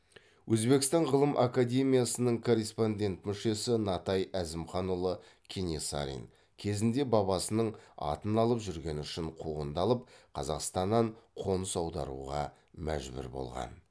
өзбекстан ғылым академиясының корреспондент мүшесі натай әзімханұлы кенесарин кезінде бабасының атын алып жүргені үшін қуғындалып қазақстаннан қоныс аударуға мәжбүр болған